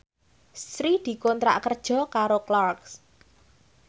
Sri dikontrak kerja karo Clarks